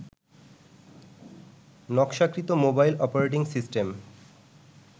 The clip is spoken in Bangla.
নকশাকৃত মোবাইল অপারেটিং সিস্টেম